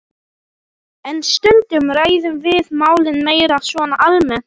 En stundum ræðum við málin meira svona almennt.